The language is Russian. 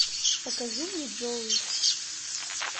покажи мне джоуи